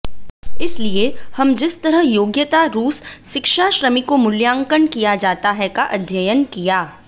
इसलिए हम जिस तरह योग्यता रूस शिक्षा श्रमिकों मूल्यांकन किया जाता है का अध्ययन किया